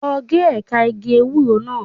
Lọ gé ẹ̀ka igi ewúro náà.